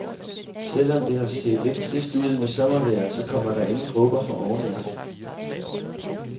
Selv om det har set lidt trist ud med sommervejret, så kommer der ingen dråber fra oven i aften.